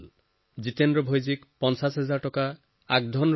জিতেন্দ্ৰ ভায়ে পঁচিশ হাজাৰ টকা আগধনো পাইছিল